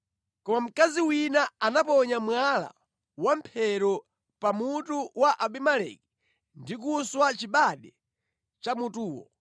Koma mkazi wina anaponya mwala wa mphero pa mutu wa Abimeleki ndi kuswa chibade cha mutuwo.